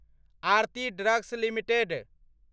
Aarti drugs limited